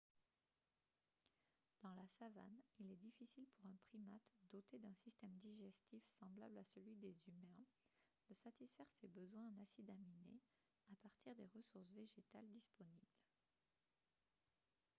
dans la savane il est difficile pour un primate doté d'un système digestif semblable à celui des humains de satisfaire ses besoins en acides aminés à partir des ressources végétales disponibles